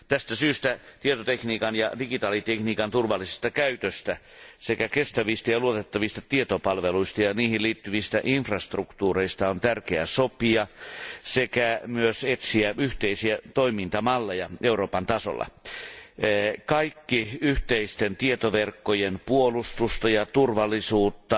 Tästä syystä tietotekniikan ja digitaalitekniikan turvallisesta käytöstä sekä kestävistä ja luotettavista tietopalveluista ja niihin liittyvistä infrastruktuureista on tärkeää sopia sekä myös etsiä yhteisiä toimintamalleja Euroopan tasolla. Kaikki yhteisten tietoverkkojen puolustusta ja turvallisuutta